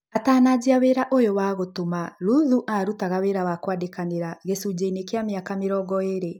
Atananjia wĩra ũyũwa gũtuma, Ruthu arũtaga wĩra wa kwandĩkanĩra gĩcunjĩinĩ kĩa mĩaka mĩrongo ĩrĩ.